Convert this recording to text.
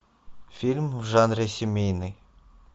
фильм в жанре семейный